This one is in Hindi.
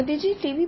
मोदी जी tव